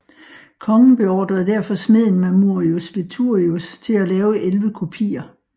Kongen beordrede derfor smeden Mamurius Veturius til at lave 11 kopier